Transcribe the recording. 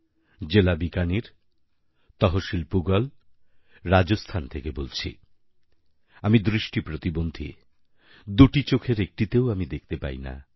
জেলা বিকানির তহশীল পুগল রাজস্থান থেকে বলছি আমি দৃষ্টি প্রতিবন্ধী দুটি চোখের একটিতেও আমি দেখতে পাই না